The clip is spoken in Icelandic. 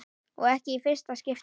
Og ekki í fyrsta skipti.